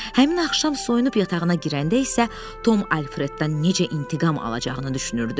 Həmin axşam soyunub yatağına girəndə isə Tom Alfreddən necə intiqam alacağını düşünürdü.